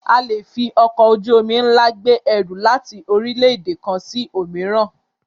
A le fi ọkọ̀ ojú-omi ńlá gbé ẹrù láti orílẹ̀-èdè kan sí òmíràn.